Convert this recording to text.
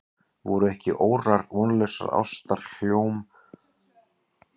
Voru ekki órar vonlausrar ástar hjóm eitt andspænis áhrifamætti þessa sköpunarverks?